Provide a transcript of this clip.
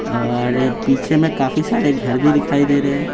और पीछे में काफी सारे घर भी दिखाई दे रहे हैं।